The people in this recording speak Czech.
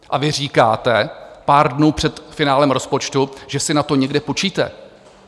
A vy říkáte pár dnů před finále rozpočtu, že si na to někde půjčíte.